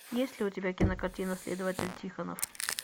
есть ли у тебя кинокартина следователь тихонов